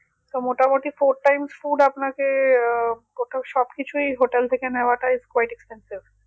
তো মোটামুটি fourth times food আপনাকে আহ সবকিছুই hotel থেকে নেওয়াটা quite expensive